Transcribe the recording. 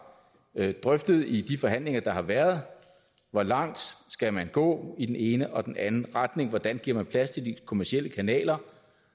drøftet i de forhandlinger der har været hvor langt skal man gå i den ene og den anden retning hvordan giver man plads til de kommercielle kanaler